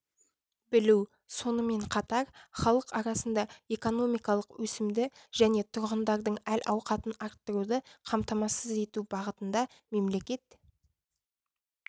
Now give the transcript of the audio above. білу сонымен қатар халық арасында экономикалық өсімді және тұрғындардың әл-ауқатын арттыруды қамтамасыз ету бағытында мемлекет